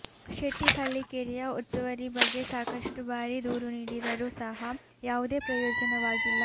ಶೆಟ್ಟಿಹಳ್ಳಿ ಕೆರೆಯ ಒತ್ತುವರಿ ಬಗ್ಗೆ ಸಾಕಷ್ಟು ಬಾರಿ ದೂರು ನೀಡಿದರೂ ಸಹ ಯಾವುದೇ ಪ್ರಯೋಜನವಾಗಿಲ್ಲ